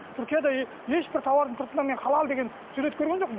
түркияда ешбір тауардың сыртынан мен халал деген сурет көрген жоқпын